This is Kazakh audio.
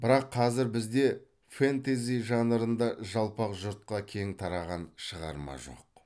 бірақ қазір бізде фэнтези жанрында жалпақ жұртқа кең тараған шығарма жоқ